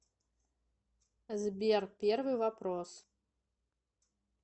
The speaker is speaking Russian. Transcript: сбер первый вопрос